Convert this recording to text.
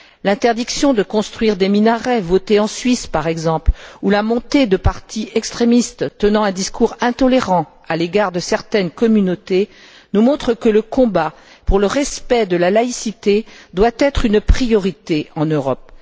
L'interdiction de construire des minarets votée en Suisse, par exemple, ou la montée de partis extrémistes tenant un discours intolérant à l'égard de certaines communautés, nous montrent que le combat pour le respect de la laïcité doit être une priorité en Europe.